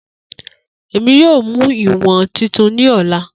Emi yoo mu iwọn Titi ni ọla.